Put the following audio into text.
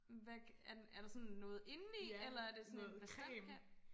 Hvad er den er der sådan noget inde i eller er det sådan en bastant kant